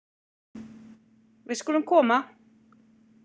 Við skulum koma!